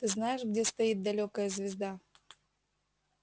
ты знаешь где стоит далёкая звезда